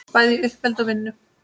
Bæði í uppeldi og vinnu.